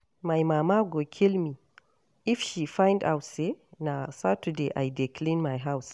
My mama go kill me if she find out say na Saturday I dey clean my house